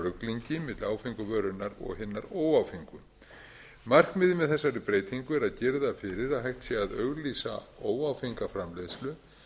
ruglingi milli áfengu vörunnar og hinnar óáfengu markmiðið með þessari breytingu er að girða fyrir að hægt sé að auglýsa óáfenga framleiðslu